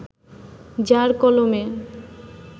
যার কলমে